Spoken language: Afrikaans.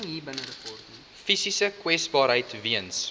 fisiese kwesbaarheid weens